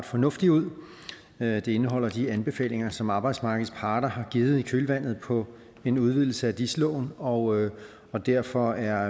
fornuftigt ud det indeholder de anbefalinger som arbejdsmarkedets parter har givet i kølvandet på en udvidelse af dis loven og og derfor er